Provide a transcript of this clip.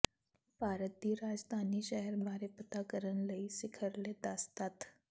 ਭਾਰਤ ਦੀ ਰਾਜਧਾਨੀ ਸ਼ਹਿਰ ਬਾਰੇ ਪਤਾ ਕਰਨ ਲਈ ਸਿਖਰਲੇ ਦਸ ਤੱਥ